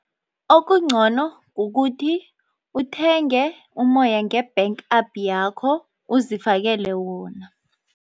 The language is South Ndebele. Okungcono kukuthi uthenge umoya nge-bank app yakho uzifakele wona.